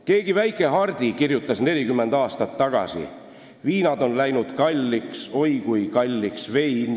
Keegi väike Hardi kirjutas 40 aastat tagasi: "Viinad on läinud kalliks, oi kui kalliks vein.